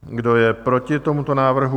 Kdo je proti tomuto návrhu?